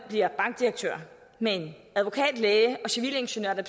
bliver bankdirektører men advokat læge eller civilingeniør er